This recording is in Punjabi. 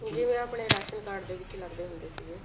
ਜਿਵੇਂ ਆਪਣੇ ਰਾਸ਼ਣ card ਦੇ ਵਿੱਚ ਲੱਗਦੇ ਹੁੰਦੇ ਸੀਗੇ